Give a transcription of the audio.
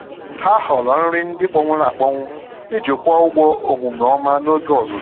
Ha họọrọ nri ndị kpọnwụrụ akpọnwụ iji kwụọ ụgwọ omume ọma n'oge ọzụzụ.